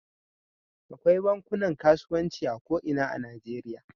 Akwai bankunan kasuwanci a ko ina a Najeriya.